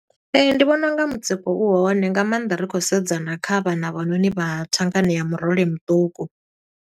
Ndi vhona unga mutsiko u hone, nga maanḓa ri khou sedzana kha vhana havhanoni vha thangani ya murole muṱuku.